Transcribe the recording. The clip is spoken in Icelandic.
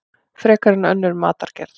Frekar en önnur matargerð.